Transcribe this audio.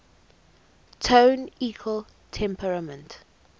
tone equal temperament